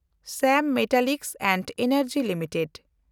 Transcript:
ᱥᱮᱢ metallic and ᱮᱱᱮᱱᱰᱡᱤ limited